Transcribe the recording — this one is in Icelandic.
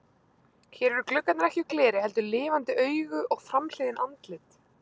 Hér eru gluggarnir ekki úr gleri heldur lifandi augu og framhliðin andlit.